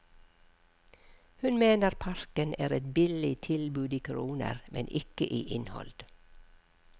Hun mener parken er et billig tilbud i kroner, men ikke i innhold.